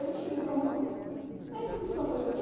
Aí eu cheguei para a moça e falei, a inscrição faz aquilo?